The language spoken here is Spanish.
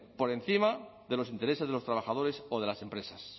por encima de los intereses de los trabajadores o de las empresas